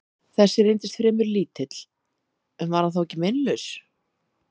Þessi reyndist fremur lítill, en var hann þá ekki meinlaus?